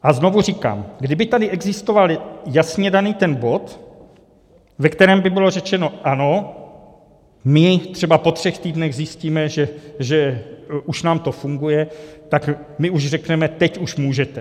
A znovu říkám, kdyby tady existoval jasně daný ten bod, ve kterém by bylo řečeno ano, my třeba po třech týdnech zjistíme, že už nám to funguje, tak my už řekneme, teď už můžete.